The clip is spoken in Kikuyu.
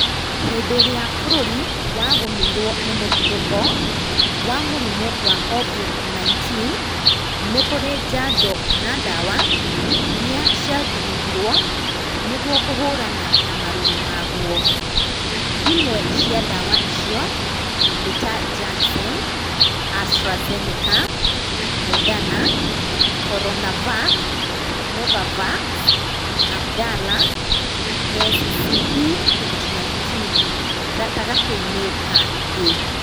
Hĩndĩ ĩrĩa bũrũri wagũmĩirwo nĩ mũtuthũko wa mũrimũ wa Covid 19 nĩkũrĩ njanjo kana ndawa iria cia thugundirwo nĩguo kũhũrana na mũrũrũ maguo. Imwe cia ndawa icio nĩ ta Janssen, AstraZeneca, Moderna, Corona Vac, NovaVax, Abdalla, Scb 2019 gatagatĩ-inĩ kaa ingĩ.